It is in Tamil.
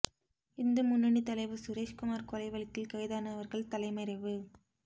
இந்து முன்னணி தலைவர் சுரேஷ் குமார் கொலை வழக்கீல் கைதானவர்கள் தலைமறைவு